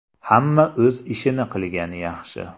Hamma o‘z ishini qilgani yaxshi.